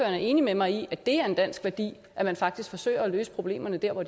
er enig med mig i at det er en dansk værdi at man faktisk forsøger at løse problemerne dér hvor